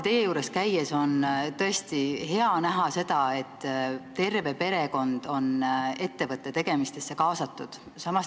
Teie juures käies on tõesti alati hea näha seda, et terve perekond on ettevõtte tegemistesse kaasatud.